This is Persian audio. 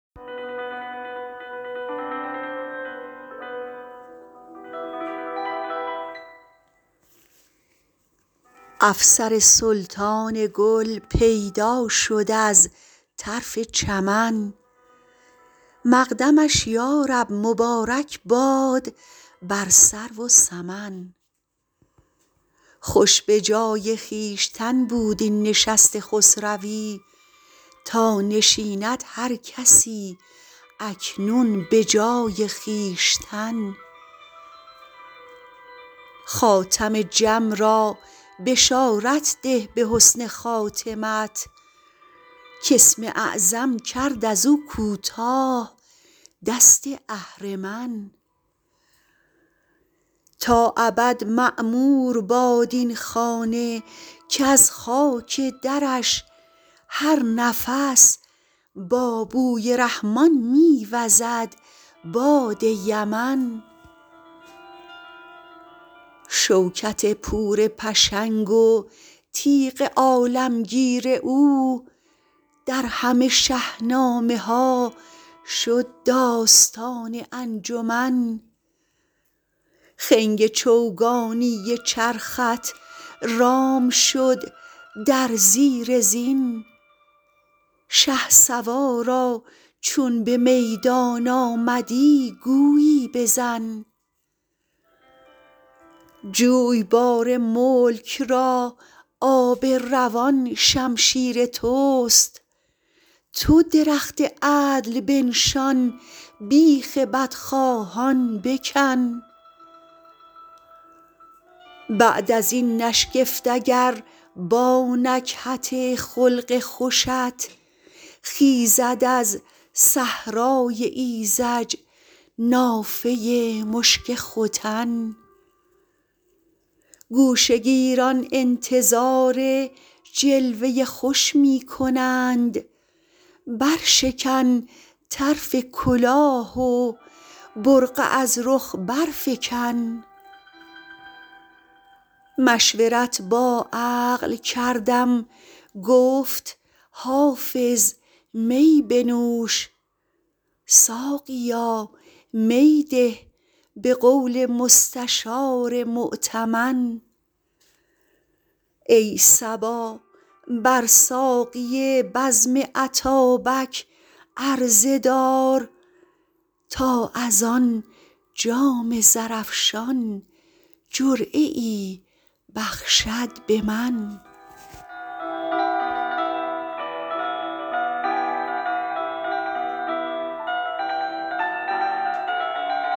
افسر سلطان گل پیدا شد از طرف چمن مقدمش یا رب مبارک باد بر سرو و سمن خوش به جای خویشتن بود این نشست خسروی تا نشیند هر کسی اکنون به جای خویشتن خاتم جم را بشارت ده به حسن خاتمت کاسم اعظم کرد از او کوتاه دست اهرمن تا ابد معمور باد این خانه کز خاک درش هر نفس با بوی رحمان می وزد باد یمن شوکت پور پشنگ و تیغ عالمگیر او در همه شهنامه ها شد داستان انجمن خنگ چوگانی چرخت رام شد در زیر زین شهسوارا چون به میدان آمدی گویی بزن جویبار ملک را آب روان شمشیر توست تو درخت عدل بنشان بیخ بدخواهان بکن بعد از این نشگفت اگر با نکهت خلق خوشت خیزد از صحرای ایذج نافه مشک ختن گوشه گیران انتظار جلوه خوش می کنند برشکن طرف کلاه و برقع از رخ برفکن مشورت با عقل کردم گفت حافظ می بنوش ساقیا می ده به قول مستشار مؤتمن ای صبا بر ساقی بزم اتابک عرضه دار تا از آن جام زرافشان جرعه ای بخشد به من